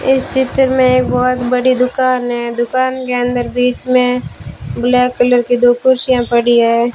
इस चित्र में एक बहोत बड़ी दुकान है दुकान के अंदर बीच में ब्लैक कलर की दो कुर्सियां पड़ी हैं।